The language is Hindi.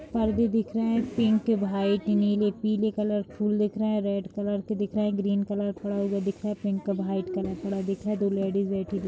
पर्दे दिख रहे हैं पिंक व्हाइट नीले पीलेकलर के फूल दिख रहे हैं रेड कलर दिख रहे हैं ग्रीन कलर थोडा बोहोत दिख रहा है पिंक व्हाइट कलर थोड़ा दिख रहा है। दो लेडिज़ बैठी दिख--